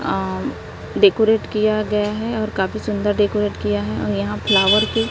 अं decorate किया गया है और काफी सुंदर डेकोरेट किया है और यहां फ्लावर की--